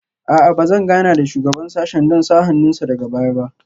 A'a ba zan gana da shugaban sashen don sa hannun sa daga baya ba